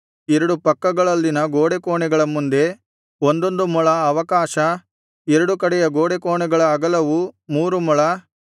ಎರಡು ಪಕ್ಕಗಳಲ್ಲಿನ ಗೋಡೆಕೋಣೆಗಳ ಮುಂದೆ ಒಂದೊಂದು ಮೊಳ ಅವಕಾಶ ಎರಡು ಕಡೆಯ ಗೋಡೆಕೋಣೆಗಳ ಅಗಲವು ಮೂರು ಮೊಳ